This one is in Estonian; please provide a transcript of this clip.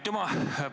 Aitüma!